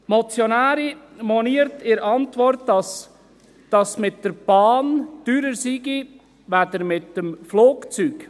Die Motionärin moniert in der Antwort, dass es mit der Bahn teurer sei als mit dem Flugzeug.